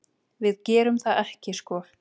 Við gerum það ekki sko.